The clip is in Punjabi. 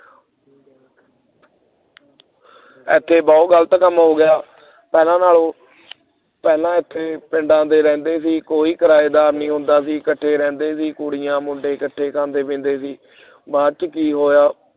ਇੱਥੇ ਬਹੁਤ ਗ਼ਲਤ ਕੰਮ ਹੋ ਗਿਆ ਪਹਿਲਾਂ ਨਾਲੋਂ ਪਹਿਲਾਂ ਇੱਥੇ ਪਿੰਡਾਂ ਦੇ ਰਹਿੰਦੇ ਸੀ ਕੋਈ ਕਿਰਾਏਦਾਰ ਨਹੀਂ ਹੁੰਦਾ ਸੀ ਇਕੱਠੇ ਰਹਿੰਦੇ ਸੀ ਕੁੜੀਆਂ ਮੁੰਡੇ ਇਕੱਠੇ ਖਾਂਦੇ ਪੀਂਦੇ ਸੀ ਬਾਅਦ ਚ ਕੀ ਹੋਇਆ